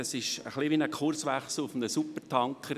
Das wäre wie ein Kurswechsel auf einem Supertanker.